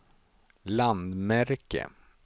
landmärke